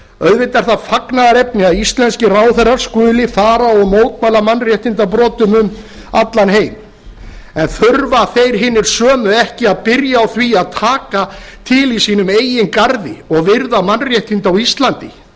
auðvitað er það fagnaðarefni að íslenskir ráðherrar skuli fara og mótmæla mannréttindabrotum um allan heim en þurfa þeir hinir sömu ekki að byrja á því að taka til í sínum eigin garði og virða mannréttindi á íslandi